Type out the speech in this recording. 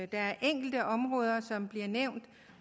der er enkelte områder som bliver nævnt